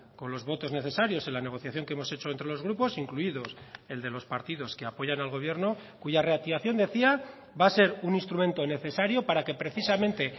con los votos necesarios en la negociación que hemos hecho entre los grupos incluidos el de los partidos que apoyan al gobierno cuya reactivación decía va a ser un instrumento necesario para que precisamente